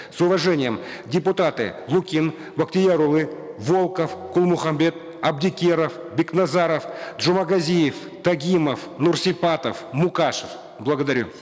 с уважением депутаты лукин бактиярулы волков кулмухамбет абдикеров бекназаров джумагазиев тагимов нурсипатов мукашев благодарю